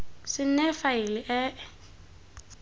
se nne faele e e